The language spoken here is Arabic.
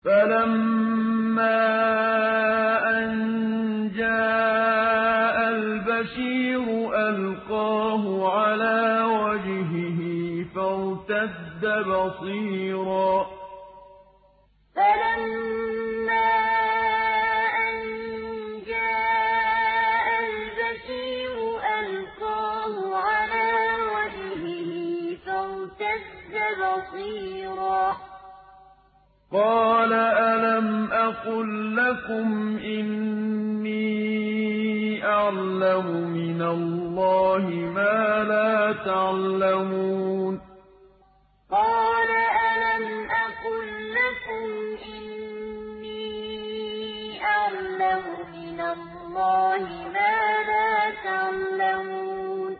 فَلَمَّا أَن جَاءَ الْبَشِيرُ أَلْقَاهُ عَلَىٰ وَجْهِهِ فَارْتَدَّ بَصِيرًا ۖ قَالَ أَلَمْ أَقُل لَّكُمْ إِنِّي أَعْلَمُ مِنَ اللَّهِ مَا لَا تَعْلَمُونَ فَلَمَّا أَن جَاءَ الْبَشِيرُ أَلْقَاهُ عَلَىٰ وَجْهِهِ فَارْتَدَّ بَصِيرًا ۖ قَالَ أَلَمْ أَقُل لَّكُمْ إِنِّي أَعْلَمُ مِنَ اللَّهِ مَا لَا تَعْلَمُونَ